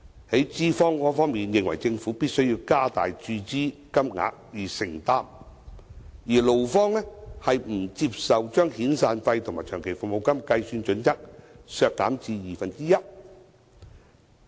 在資方方面，認為政府必須加大注資金額以承擔，而勞方卻不接受把遣散費和長期服務金計算準則削減至二分之一。